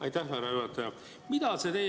Aitäh, härra juhataja!